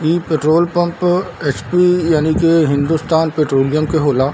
इ petrol pump HP. यानी की हिन्दुस्तान पेट्रोलियम के होला --